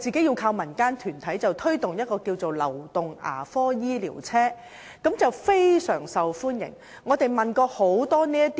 由民間團體提供流動牙科醫療車服務，相當受歡迎。